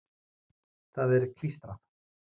Það er klístrað.